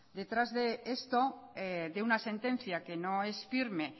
detrás de esto de una sentencia que no es firme